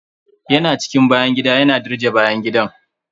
Ya na cikin bayan gida, yana dirje bayan gidan.